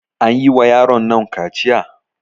An yi wa yaronnan kaciya?